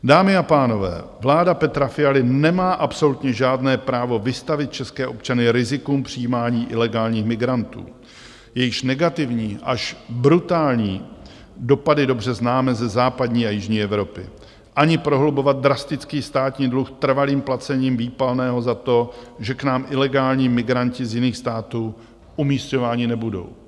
Dámy a pánové, vláda Petra Fialy nemá absolutně žádné právo vystavit české občany rizikům přijímání ilegálních migrantů, jejichž negativní až brutální dopady dobře známe ze západní a jižní Evropy, ani prohlubovat drastický státní dluh trvalým placením výpalného za to, že k nám ilegální migranti z jiných států umísťováni nebudou.